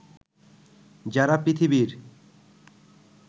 যারা পৃথিবীর